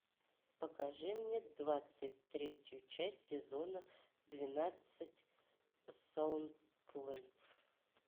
покажи мне двадцать третью часть сезона двенадцать саутленд